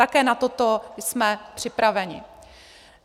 Také na toto jsme připraveni.